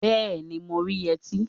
Bẹẹni, mo rí yẹtí